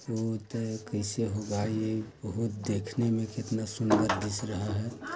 बहुत है कैसे होगा ये बहुत देखने में कितना सुंदर दिस (दिख) रहा है।